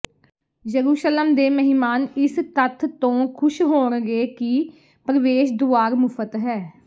ਯਰੂਸ਼ਲਮ ਦੇ ਮਹਿਮਾਨ ਇਸ ਤੱਥ ਤੋਂ ਖੁਸ਼ ਹੋਣਗੇ ਕਿ ਪ੍ਰਵੇਸ਼ ਦੁਆਰ ਮੁਫ਼ਤ ਹੈ